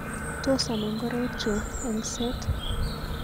Tos ama ngoraikchu eng seet?